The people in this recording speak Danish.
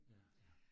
Ja